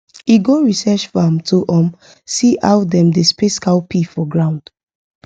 e go research farm to um see how dem dey space cowpea for ground